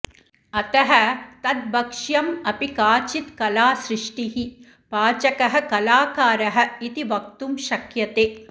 अतः तद्भक्ष्यम् अपि काचित् कलासृष्टिः पाचकः कलाकारः इति वक्तुं शक्यते